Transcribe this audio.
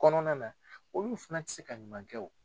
Kɔnɔna na olu fɛna tɛ se ka ɲuman kɛ o.